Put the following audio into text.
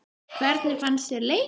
Hvernig fannst þér leikurinn?